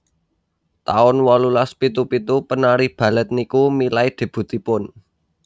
taun wolulas pitu pitu penari Balet niku milai debutipun